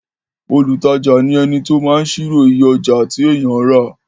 olùtajà ni ẹni tí ó máa ṣírò iye ọjà tí èèyàn rà